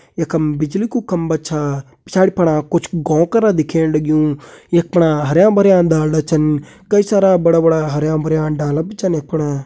यखम बिजली कु खम्बा छा। पिछाड़ि फणा कुछ गौं करा दिखेण लग्युं । यक पणा हरियां भरियां डांडा छन। कई सारा बड़ा बड़ा हरियां भरियां डाला बि छन यक फणा।